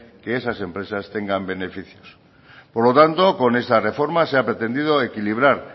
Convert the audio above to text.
que esas empresas tengan beneficios por lo tanto con esa reforma se ha pretendido equilibrar